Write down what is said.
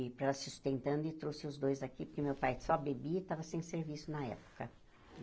E, para ela se sustentando, e trouxe os dois aqui, porque o meu pai só bebia e estava sem serviço na época.